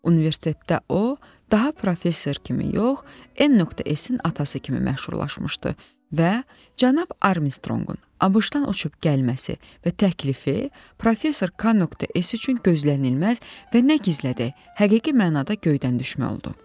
Universitetdə o daha professor kimi yox, n.s-in atası kimi məşhurlaşmışdı və cənab Armstrongun ABŞ-dan uçub gəlməsi və təklifi professor k.s üçün gözlənilməz və nə gizlədək, həqiqi mənada göydən düşmək oldu.